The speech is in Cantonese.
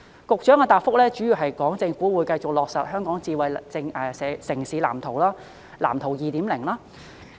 局長的答覆主要表示，會繼續落實《香港智慧城市藍圖》及其第二版《藍圖 2.0》。